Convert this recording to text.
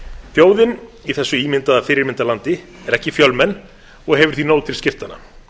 þjóðin í þessu ímyndaða fyrirmyndarlandi er ekki fjölmenn og hefur því nóg til skiptanna